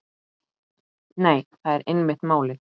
Nei, það er einmitt málið.